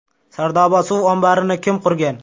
Sardoba suv omborini kim qurgan?.